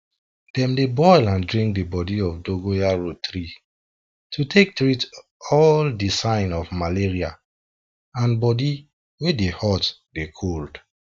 dem dey boil and drink di bodi of dongoyaro tree to take treat all di sign of malaria and bodi wey dey hot dey cold